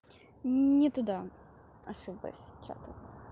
не туда ошиблась чатом